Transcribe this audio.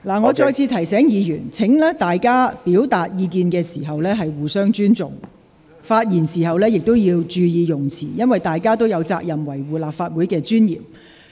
我再次提醒議員，大家表達意見時要互相尊重，發言時亦要注意用詞，因為大家都有責任維護立法會的尊嚴。